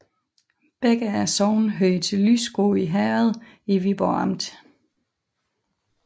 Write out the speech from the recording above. Begge sogne hørte til Lysgård Herred i Viborg Amt